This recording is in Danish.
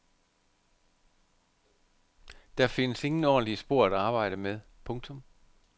Der findes ingen ordentlige spor at arbejde med. punktum